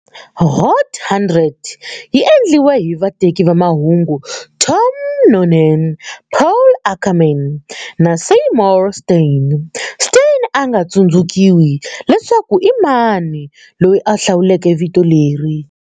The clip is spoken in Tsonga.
Hot 100 yi endliwe hi vateki va mahungu Tom Noonan, Paul Ackerman, na Seymour Stein, Stein a nga tsundzukiwi leswaku i mani loyi a hlawuleke vito leri.